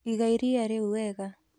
Iga iria rĩu wega.